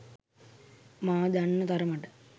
මා දන්නා තරමට